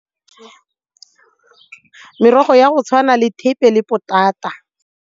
Merogo ya go tshwana le thepe le potata.